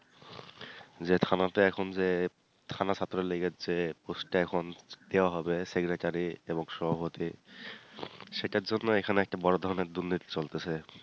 যে থানাতে এখন যে থানা ছাত্র লীগের যে post এ এখন দেওয়া হবে secretary এবং সভাপতি সেটার জন্য এখানে একটা বড় ধরনের দুর্নীতি চলতেছে।